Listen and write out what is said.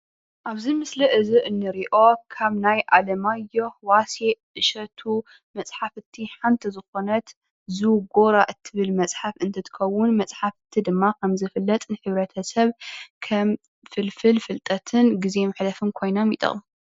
ኣብዚ ምስሊ እዚ እንሪኦ ካብ ናይ ኣለማዮህ ፡ዋሲዕ ፡እሸቱ መፅሓፍቲ ሓንቲ ዝኮነት ዝጎራ እትብል መፅሓፍ እንትትከዉን መፅሓፍቲ ደማ ከምዝፍለጥ ንሕብረተሰብ ከም ፍልፍል ፍልጠትን ግዘ መሕለፍን ኮይኖም ይጠቅሙ።